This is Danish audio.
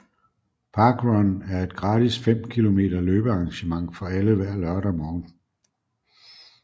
parkrun er et gratis fem kilometer løbearrangement for alle hver lørdag morgen